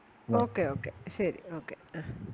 ok ok ശരി okay ആഹ്